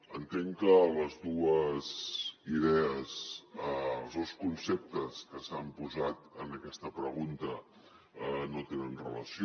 entenc que les dues idees els dos conceptes que s’han posat en aquesta pregunta no tenen relació